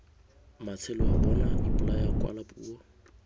matsheloa bona ipolaya kwala puo